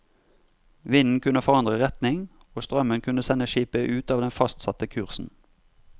Vinden kunne forandre retning, og strømmen kunne sende skipet ut av den fastsatte kursen.